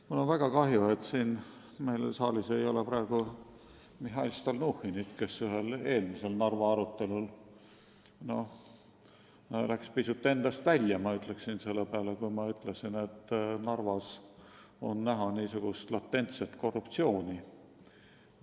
Mul on väga kahju, et saalis ei ole praegu Mihhail Stalnuhhinit, kes ühel eelmisel Narva probleemide arutelul läks pisut endast välja, kui ma ütlesin, et Narvas on näha latentset korruptsiooni.